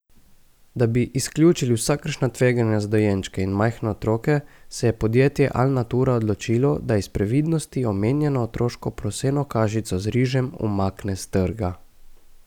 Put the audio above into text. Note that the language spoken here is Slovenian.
Da bi izključili vsakršna tveganja za dojenčke in majhne otroke, se je podjetje Alnatura odločilo, da iz previdnosti omenjeno otroško proseno kašico z rižem umakne s trga.